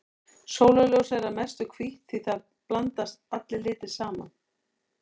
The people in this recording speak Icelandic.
Sólarljósið er að mestu hvítt því þar blandast allir litir saman.